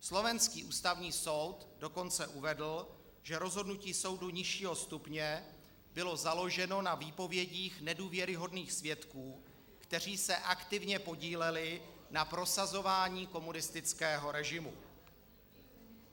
Slovenský Ústavní soud dokonce uvedl, že rozhodnutí soudu nižšího stupně bylo založeno na výpovědích nedůvěryhodných svědků, kteří se aktivně podíleli na prosazování komunistického režimu.